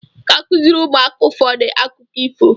Ị ga-akụziri ụmụaka ụfọdụ akụkọ ifo.